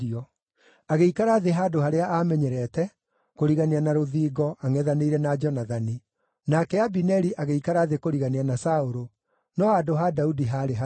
Agĩikara thĩ handũ harĩa aamenyerete, kũrigania na rũthingo, angʼethanĩire na Jonathani, nake Abineri agĩikara thĩ kũrigania na Saũlũ, no handũ ha Daudi haarĩ hatheri.